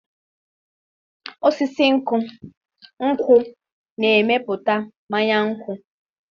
Osisi nkwụ na-emepụta mmanya nkwụ.